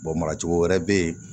mara cogo wɛrɛ bɛ yen